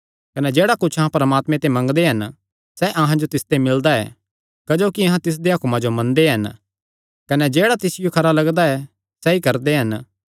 कने जेह्ड़ा कुच्छ अहां परमात्मे ते मंगदे हन सैह़ अहां जो तिसते मिलदा ऐ क्जोकि अहां तिसदेयां हुक्मां जो मनदे हन कने जेह्ड़ा तिसियो खरा लगदा ऐ सैई करदे हन